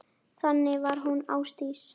Þannig var hún Ásdís.